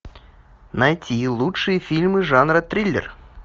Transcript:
найти лучшие фильмы жанра триллер